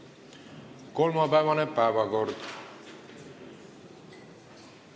Kolmapäevane päevakord.